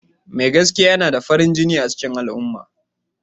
Mai gaskiya yana da farin jini a cikin al'umma.